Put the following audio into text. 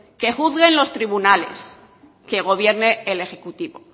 que juzguen los tribunales que gobierne el ejecutivo